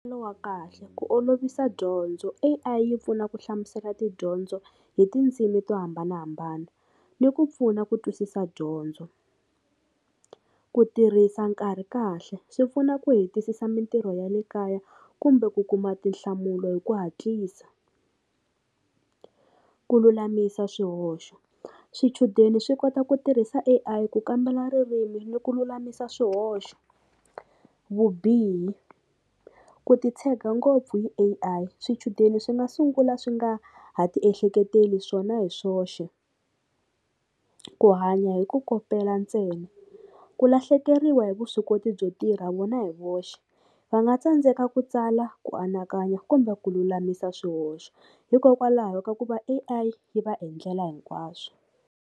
Lo wa kahle ku olovisa dyondzo A_I yi pfuna ku hlamusela tidyondzo hi tindzimi to hambanahambana ni ku pfuna ku twisisa dyondzo ku tirhisa nkarhi kahle swi pfuna ku hetisisa mintirho ya le kaya kumbe ku kuma tinhlamulo hi ku hatlisa ku lulamisa swihoxo swichudeni swi kota ku tirhisa A_I ku kambela ririmi ni ku lulamisa swihoxo vubihi ku ti tshega ngopfu hi A_I swichudeni swi nga sungula swi nga ha ti ehleketeleli swona hi swoxe ku hanya hi ku kopela ntsena ku lahlekeriwa hi vuswikoti byo tirha vona hi voxe va nga tsandzeka ku tsala ku anakanya kumbe ku lulamisa swihoxo hikokwalaho ka ku va A_I yi va endlela hinkwaswo.